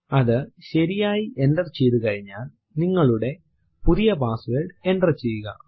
അതു ശരിയായി എന്റർ ചെയ്തു കഴിഞ്ഞാൽ നിങ്ങളുടെ പുതിയ പാസ്സ്വേർഡ് എന്റർ ചെയ്യുക